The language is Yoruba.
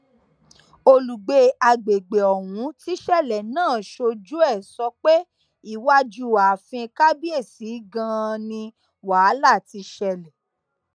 olùgbé àgbègbè ọhún tíṣẹlẹ náà ṣojú ẹ sọ pé iwájú ààfin kábíyèsí ganan ni wàhálà ti ṣẹlẹ